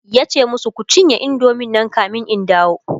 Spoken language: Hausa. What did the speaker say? yace masu "Kun cinye indomie Nan kamin in dawo!"